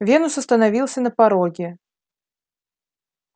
венус остановился на пороге